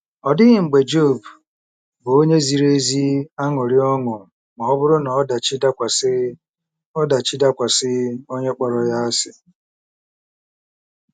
Ọ dịghị mgbe Job bụ́ onye ziri ezi aṅụrị ọṅụ ma ọ bụrụ na ọdachi dakwasị ọdachi dakwasị onye kpọrọ ya asị.